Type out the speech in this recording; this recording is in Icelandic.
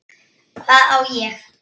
Hvað á ég?